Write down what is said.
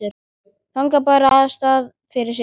Þagði bara og starði fram fyrir sig.